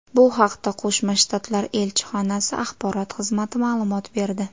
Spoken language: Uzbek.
Bu haqda Qo‘shma shtatlar elchxonasi axborot xizmati ma’lumot berdi.